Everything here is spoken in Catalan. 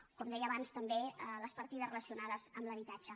o com deia abans també les partides relacionades amb l’habitatge